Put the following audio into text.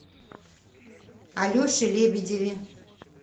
алеше лебедеве